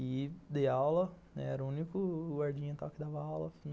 E dei aula, era o único guardinha tal que dava aula.